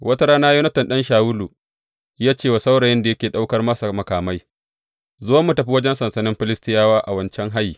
Wata rana Yonatan ɗan Shawulu ya ce wa saurayin da yake ɗaukar masa makamai, Zo mu tafi wajen sansanin Filistiyawa a wancan hayi.